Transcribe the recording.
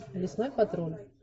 лесной патруль